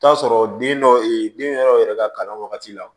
T'a sɔrɔ den dɔ e den yɔrɔ yɛrɛ ka kalan wagati la